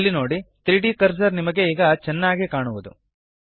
ಅಲ್ಲಿ ನೋಡಿ 3ದ್ ಕರ್ಸರ್ ಈಗ ನಿಮಗೆ ಚೆನ್ನಾಗಿ ಕಾಣುವುದು